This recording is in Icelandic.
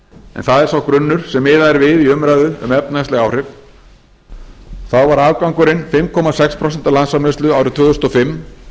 en það er sá grunnur sem miðað er við í umræðu um efnahagsleg áhrif þá var afgangurinn fimm komma sex prósent af landsframleiðslu árið tvö þúsund og fimm